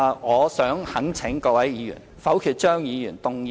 我想懇請各位議員否決張議員動議的所有修正案。